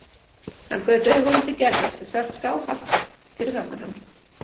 Hann gaut augunum til Gerðar sem sat skáhallt fyrir framan hann.